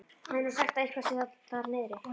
Það er nú sagt að eitthvað sé þar niðri.